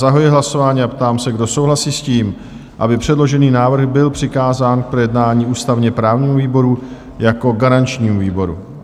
Zahajuji hlasování a ptám se, kdo souhlasí s tím, aby předložený návrh byl přikázán k projednání ústavně-právnímu výboru jako garančnímu výboru?